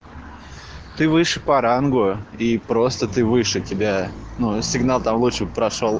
ты выше по рангу и просто ты выше тебя но сигнал того что прошёл